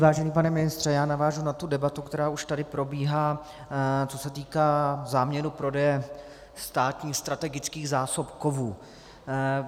Vážený pane ministře, já navážu na tu debatu, která už tady probíhá, co se týká záměru prodeje státních strategických zásob kovů.